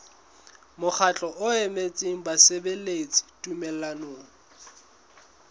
mokgatlo o emetseng basebeletsi tumellanong